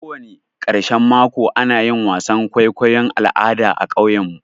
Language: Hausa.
Kowani ƙarshan mako ana yin wasan kwaikwayon al'ada a ƙauyen mu.